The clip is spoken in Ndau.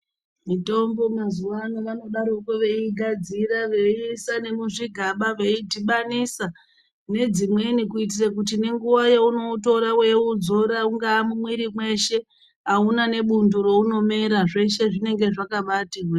Mitombo mazuva ano vanodaropo veyiyigadzira veyiisa nomuzvi gaba veyidhibanisa nedzimweni kuitire kuti nenguva yauno utora weyi udzora ungava muwiri weshe awuna nepundo raunomera zveshe zvinenge zvakabaiti hwee.